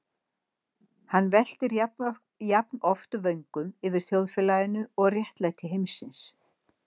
Hann veltir jafnoft vöngum yfir þjóðfélaginu og réttlæti heimsins.